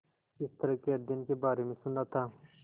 इस तरह के अध्ययन के बारे में सुना था